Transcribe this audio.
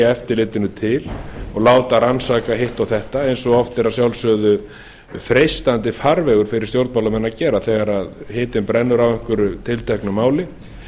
eftirlitinu til og láta rannsaka hitt og þetta eins og oft er að sjálfsögðu freistandi farvegur fyrir stjórnmálamenn að gera þegar hitinn brennur á einhverju tilteknu máli